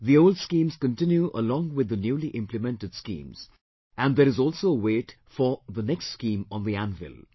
The old schemes continue along with the newly implemented schemes and there is also a wait for the next scheme on the anvil